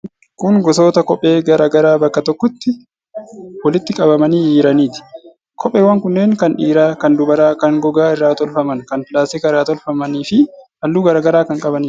Kun gosoota kophee garaa garaa bakka tokkotti walitti qabamanii jiraniiti. Kopheewwan kunneen kan dhiiraa , kan dubaraa, kan gogaa irraa tolfaman, kan pilaastika irraa tolfaman fi halluu garaa garaa kan qabaniidha.